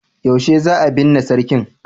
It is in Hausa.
yaushe za a binne sarkin?